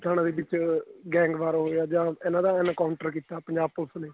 ਪਠਾਣਾ ਦੇ ਵਿੱਚ gang war ਹੋ ਗਿਆ ਜਾਂ ਇਹਨਾ ਦਾ encounter ਕੀਤਾ ਪੰਜਾਬ ਪੁਲਸ ਨੇ